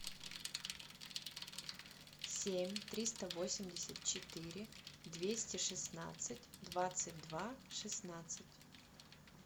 семь триста восемьдесят четыре двести шестнадцать двадцать два шестнадцать